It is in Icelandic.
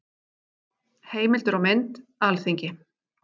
Heimildir og mynd: Alþingi.